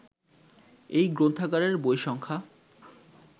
এই গ্রন্থাগারের বই সংখ্যা